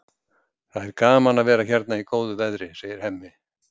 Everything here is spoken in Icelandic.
Það er gaman að vera hérna í góðu veðri, segir Hemmi.